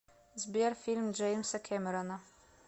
сбер фильм джеймса кемерона